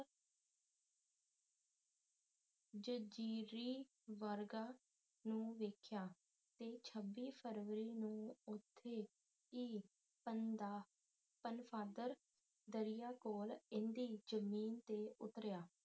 ਜਜ਼ੀਰੀਵਰਗਾ ਨੂੰ ਵੇਖਿਆ ਤੇ ਛੱਬੀ ਫ਼ਰਵਰੀ ਨੂੰ ਉਥੇ ਈ ਪਨਫ਼ਾਦਰ ਦਰਿਆ ਕੋਲ਼ ਏਦੀ ਜ਼ਮੀਨ ਤੇ ਉਤਰਿਆ